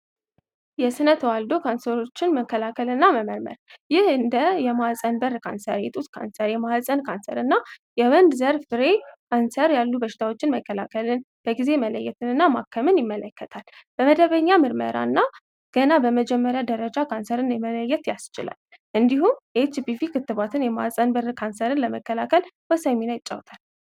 የስነ ተዋልዶ ካንሰሮችን መከላከል እና መመርመር ይህ እንደ የማሕፀን በር ካንሰር የጡት ካንሰር የማሕጸን ካንሰር እና የወንድ ዘርፍ ሬይ ካንሰር ያሉ በሽታዎችን መከላከልን በጊዜ መለየትን እና ማከምን ይመለከታል። በመደበኛ ምርመራ እና ገና በመጀመሪያ ደረጃ ካንሰርን የመለየት ያስችላል። እንዲሁም ኤችፒቪ ክትባትን የማሕጸን በር ካንሰርን ለመከላከል በሳይሚና ይጫውታል።